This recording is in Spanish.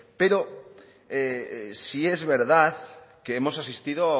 pero sí es verdad que hemos asistido